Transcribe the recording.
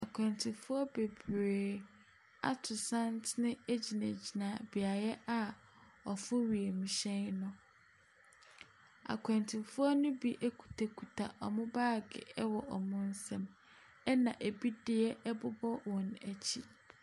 Akwantufoɔ bebree ato santene gyingyina beaeɛ a wɔforo wiemhyɛn no. Akwantufoɔ no bi kutakuta wɔn baage wɔ wɔn nsam, ɛna ɛbi deɛ bobɔ wɔn akyi.